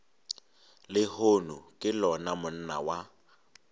lehono ke lona monna wa